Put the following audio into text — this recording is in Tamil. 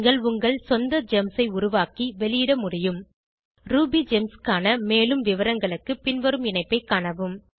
நீங்கள் உங்கள் சொந்த ஜெம்ஸ் ஐ உருவாக்கி வெளியிட முடியும் ரூபிகெம்ஸ் க்கான மேலும் விவரங்களும் பின்வரும் இணைப்பை காணவும்